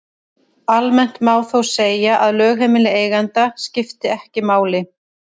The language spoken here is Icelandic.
Almennt má þó segja að lögheimili eiganda skipti ekki máli.